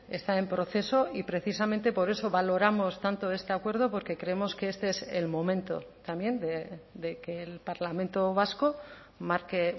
está en proceso y precisamente por eso valoramos tanto este acuerdo porque creemos que este es el momento también de que el parlamento vasco marque